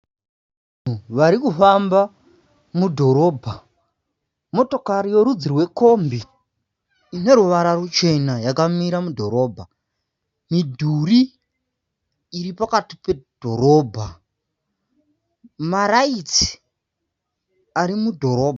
Vanhu vari kufamba mudhorobha. Motokari yerudzi rwekombi ine ruvara ruchena yakamira mudhorobha. Midhuri iri pakati pedhorobha. Maraitsi ari mudhorobha.